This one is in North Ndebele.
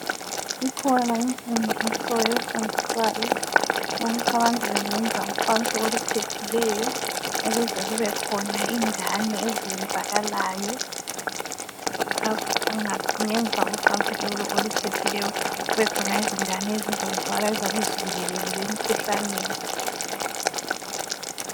Ikhona imfundiso efundiswayo ukuthi abantu bengenza ucansi oluphephileyo ukuze kubekhona ingane ezenzakalayo ngemva kocansi lolo oluphephileyo kubekhona izingane ezizazalwa eziyabe zivikelekile emikhuhlaneni.